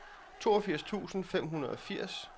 toogfirs tusind fem hundrede og firs